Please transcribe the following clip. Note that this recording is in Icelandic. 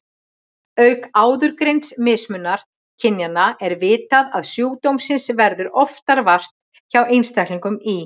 Auk áðurgreinds mismunar kynjanna er vitað að sjúkdómsins verður oftar vart hjá einstaklingum í